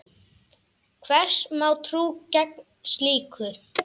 Hvers má trú gegn slíku?